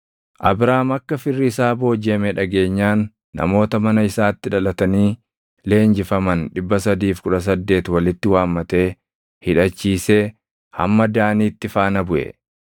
Abraam akka firri isaa boojiʼame dhageenyaan namoota mana isaatti dhalatanii leenjifaman 318 walitti waammatee hidhachiisee hamma Daaniitti faana buʼe.